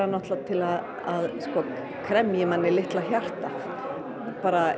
til að kremja í manni litla hjartað